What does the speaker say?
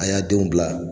A y'a denw bila